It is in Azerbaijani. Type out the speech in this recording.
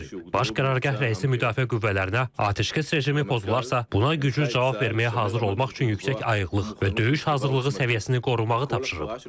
Baş Qərargah rəisi Müdafiə Qüvvələrinə atəşkəs rejimi pozularsa, buna güclü cavab verməyə hazır olmaq üçün yüksək ayıqlıq və döyüş hazırlığı səviyyəsini qorumağı tapşırıb.